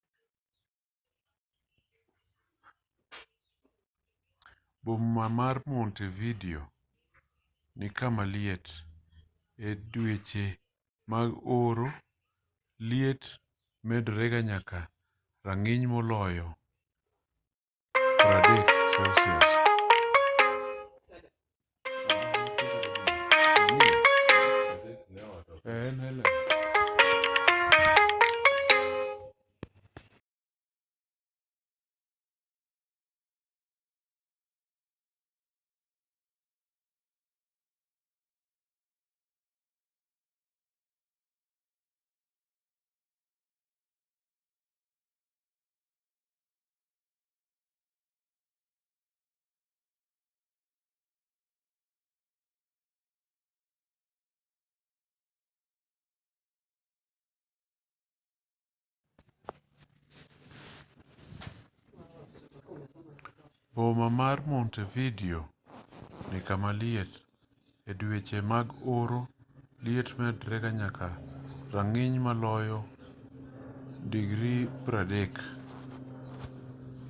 boma mar montevideo ni kama liet; e dweche mag oro liet medorega nyaka rang'iny moloyo +30°c